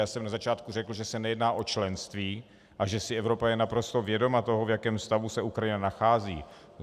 Já jsem na začátku řekl, že se nejedná o členství a že si Evropa je naprosto vědoma toho, v jakém stavu se Ukrajina nachází.